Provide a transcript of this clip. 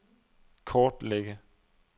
kortlægge